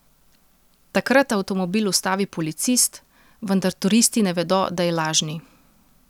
Takrat avtomobil ustavi policist, vendar turisti ne vedo, da je lažni.